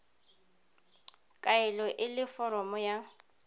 kaelo e le foromo ya